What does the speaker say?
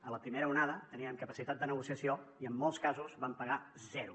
a la primera onada teníem capacitat de negociació i en molts casos vam pagar zero